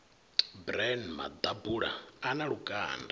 bran maḓabula a na lukanda